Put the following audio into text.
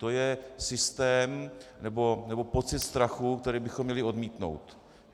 To je systém, nebo pocit strachu, který bychom měli odmítnout.